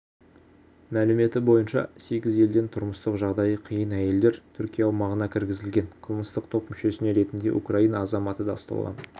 мәліметі бойынша сегіз елден тұрмыстық жағдайы қиын әйелдер түркия аумағына кіргізілген қылмыстық топ мүшесі ретінде украина азаматы да ұсталған